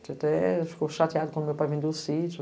A gente até ficou chateado quando meu pai vendeu sítio.